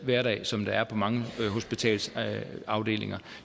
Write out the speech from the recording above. hverdag som der er på mange hospitalsafdelinger